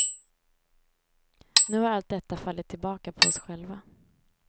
Nu har allt detta fallit tillbaka på oss själva.